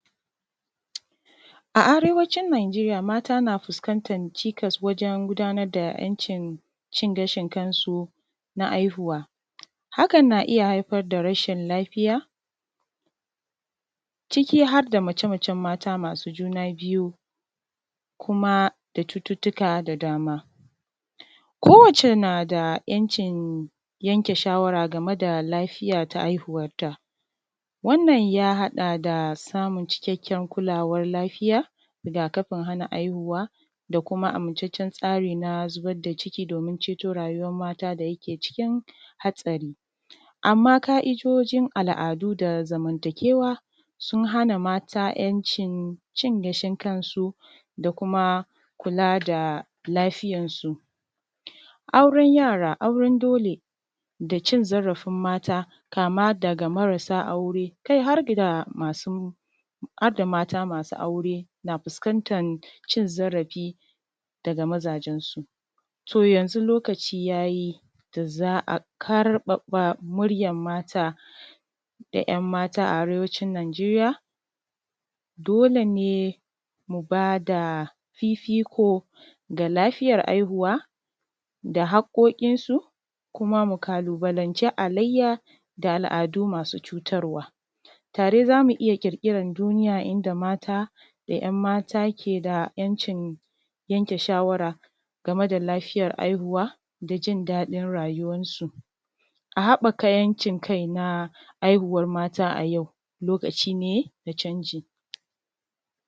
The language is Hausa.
A arewacin Nijeriya mata na fuskantar cikas wajen gudanar da 'yancin cin gashin kansu na haihuwa. Hakan na iya haifar da rashin lafiya, ciki har da mace-macen mata masu juna bhyu, kuma da cututtuka da dama. Kowacce na da 'yancin yanke shawara game da lafiya ta haihuwarta. Wannan ya haɗa da samun cikakken kulawar lafiya, rigakafin hana haihuwa, da kuma amintaccen tsari na zubar da ciki domin ceto rayuwar mata da yake cikin hatsari. Amma ƙa'idojin al'adu da zamantakewa, sun hana mata 'yancin cin gashin kansu, da kuma kula da lafiyarsu. Auren yara, auren dole, da cin zarafin mata, kama daga marasa aure, kai har da mata masu aure na fuskantan cin zarafi daga mazajensu. To yanzu lokaci ya yi da za a ƙarfafa muryar mata, da ƴanmata a Arewacin Nijeriya. Dole ne mu ba da fifiko ga lafiyar haihuwa da haƙƙoƙinsu, kuma mu ƙalubalanci halayya da al'adu masu cutarwa. Tare za mu iya ƙirƙiran duniya inda mata da 'yanmata ke da 'yancin yanke shawara game da lafiyar haihuwa, da jin daɗin rayuwarsu. A haɓaka 'yancin kai na haihuwar mata a yau lokaci ne na canji.